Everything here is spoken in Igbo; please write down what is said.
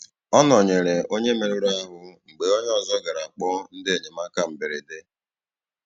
Ọ nọ̀nyerè onye mèruru ahú mgbe onye ọzọ garà kpọọ ndị enyemáka mberede.